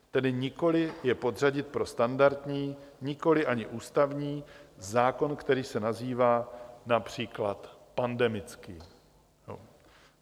Tedy nikoli je podřadit pro standardní, nikoli ani ústavní zákon, který se nazývá například pandemický.